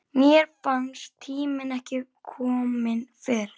Mér fannst tíminn ekki kominn fyrr.